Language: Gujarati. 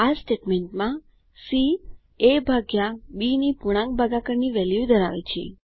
આ સ્ટેટમેન્ટમાંc એ ભાગ્યા bની પૂર્ણાંક ભાગાકારની વેલ્યુ ધરાવે છે